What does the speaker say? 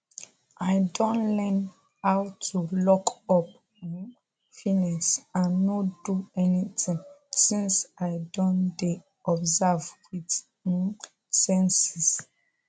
i don learn how to lockup um feelings and no do anything since i don dey observe with um sensings